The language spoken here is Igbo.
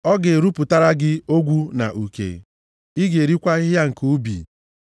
Ọ ga-erupụtara gị ogwu na uke, ị ga-erikwa ahịhịa nke ubi.